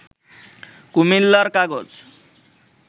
কুমিল্লার কাগজ